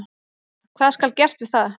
Hvað skal gert við það?